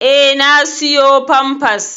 Eh na siƴo pampas.